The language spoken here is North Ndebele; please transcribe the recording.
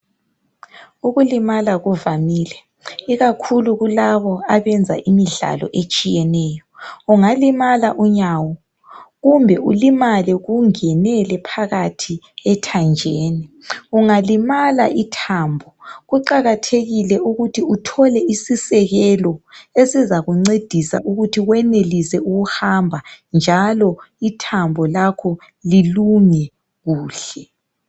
Ukulimala kuvamile ikakhulu kulabo abenza imidlalo etshiyeneyo .Ungalimala unyawo kumbe ulimale kungenele phakathi ethanjeni .Ungalimala ithambo kuqakathekile ukuthi uthole isisekelo esizakuncedisa ukuthi wenelise ukuhamba njalo ithambo lakho lilunge kuhle .